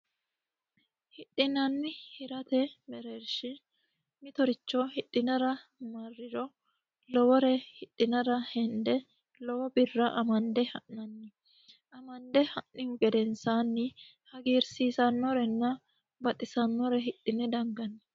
hidhinanni hirate mereershi mitoricho hidhinara marriro lowore hidhinara hende lowo birra amande ha'nanni ha'nihu gedensaani hagiirsiisanorenna baxisannore hidhina danganni.